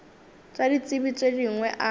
tša ditsebi tše dingwe a